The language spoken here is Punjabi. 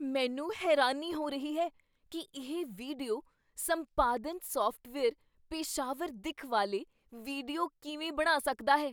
ਮੈਨੂੰ ਹੈਰਾਨੀ ਹੋ ਰਹੀ ਹੈ ਕੀ ਇਹ ਵੀਡੀਓ ਸੰਪਾਦਨ ਸਾਫਟਵੇਅਰ ਪੇਸ਼ਾਵਰ ਦਿੱਖ ਵਾਲੇ ਵੀਡੀਓ ਕਿਵੇਂ ਬਣਾ ਸਕਦਾ ਹੈ।